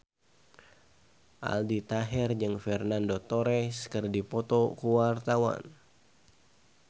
Aldi Taher jeung Fernando Torres keur dipoto ku wartawan